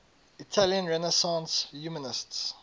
italian renaissance humanists